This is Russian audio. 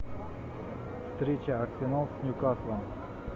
встреча арсенал с ньюкаслом